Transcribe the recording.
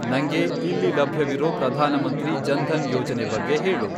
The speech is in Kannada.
ನಂಗೆ ಇಲ್ಲಿ ಲಭ್ಯವಿರೋ ಪ್ರಧಾನಮಂತ್ರಿ ಜನ್ಧನ್ ಯೋಜನೆ ಬಗ್ಗೆ ಹೇಳು!